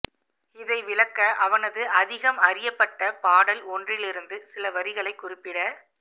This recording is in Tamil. இதை விளக்க அவனது அதிகம் அறியப்பட்ட பாடல் ஒன்றிலிருந்து சில வரிகளைக் குறிப்பிட